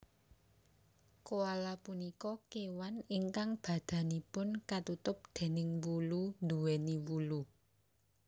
Koala punika kéwan ingkang badanipun katutup déning wulu nduwèni wulu